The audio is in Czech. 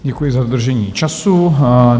Děkuji za dodržení času.